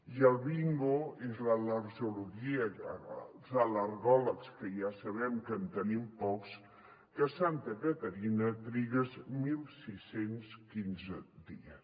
i el bingo és l’al·lergologia els al·lergòlegs que ja sabem que en tenim pocs que a santa caterina trigues setze deu cinc dies